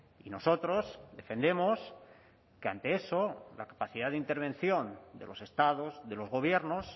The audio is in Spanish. y nosotros defendemos que ante eso la capacidad de intervención de los estados de los gobiernos